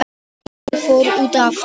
Konan fór út aftur.